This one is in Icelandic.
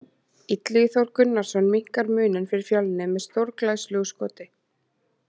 Illugi Þór Gunnarsson minnkar muninn fyrir Fjölni með stórglæsilegu skoti!